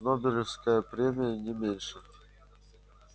нобелевская премия не меньше